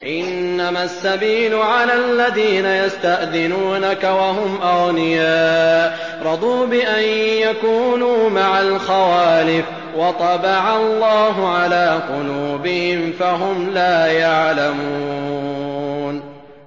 ۞ إِنَّمَا السَّبِيلُ عَلَى الَّذِينَ يَسْتَأْذِنُونَكَ وَهُمْ أَغْنِيَاءُ ۚ رَضُوا بِأَن يَكُونُوا مَعَ الْخَوَالِفِ وَطَبَعَ اللَّهُ عَلَىٰ قُلُوبِهِمْ فَهُمْ لَا يَعْلَمُونَ